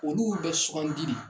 Olu bɛ sugandi de